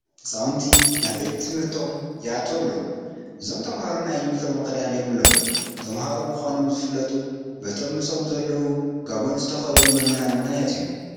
ህፃውንቲ ናብ ቤት ትምህርቆም ይኣትው ኣለዉ፡፡ እዞም ተመሃሮ ናይ ዩኒፎርም ክዳን የብሎምን፡፡ ተመሃሮ ምዃኖም ዝፍለጡ በቶም ምስኦም ዘለዉ ጋቦን ዝተኸደኑ መምህር ምኽንያት እዩ፡፡